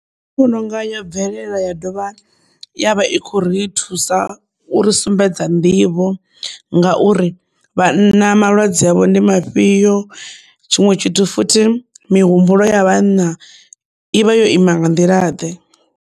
Nṋe ndi vhononga yo bvelela ya dovha ya vha i khou ri thusa uri sumbedza nḓivho ngauri vhana malwadze havho ndi mafhio tshiṅwe tshithu futhi mihumbulo ya vhanna ivha yo ima nga nḓila ḓe.